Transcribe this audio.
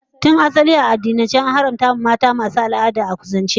Tun asali a addinance, an haramta mata masu yin jinin al'ada a kusance su da jima'i.